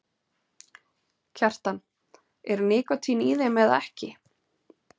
Kjartan: Er nikótín í þeim eða ekki?